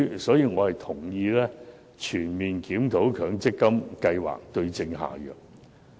所以，我同意全面檢討強積金計劃，對症下藥。